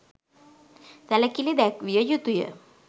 සැලකිලි දැක්විය යුතු ය